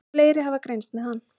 Fleiri hafa greinst með hann.